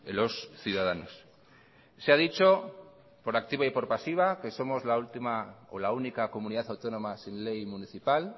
los ciudadanos se ha dicho por activa y por pasiva que somos la única comunidad autónoma sin ley municipal